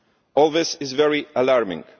All this is very alarming.